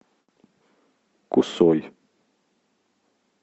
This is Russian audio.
кусой